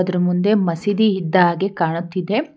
ಇದರ ಮುಂದೆ ಮಸೀದಿ ಇದ್ದ ಹಾಗೆ ಕಾಣುತ್ತಿದೆ.